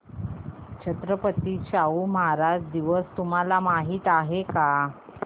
छत्रपती शाहू महाराज दिवस तुम्हाला माहित आहे